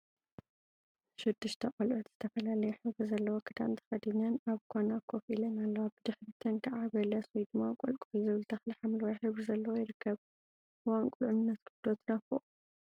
ሽዱሽተ ቆልዑት ዝተፈላለየ ሕብሪ ዘለዎ ክዳን ተከዲነን አብ ኳና ኮፍ ኢለ አለዋ፡፡ ብድሕሪተን ከዓ በለስ/ቆልቋል/ ዝብሃል ተክሊ ሓምለዋይ ሕብሪ ዘለዎ ይርከብ፡፡ እዋን ቁልዕነትኩም ዶ ትናፍቁ?